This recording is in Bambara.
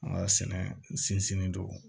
An ka sɛnɛ sinsin do